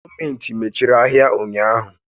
Gọọmentị mechiri ahịa ụnyaahụ.